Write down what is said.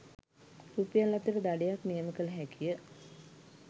රුපියල්–අතර දඩයක් නියම කළ හැකිය